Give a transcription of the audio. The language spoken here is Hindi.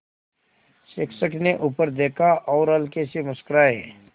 शिक्षक ने ऊपर देखा और हल्के से मुस्कराये